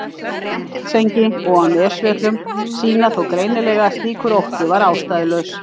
Svartsengi og á Nesjavöllum sýna þó greinilega að slíkur ótti var ástæðulaus.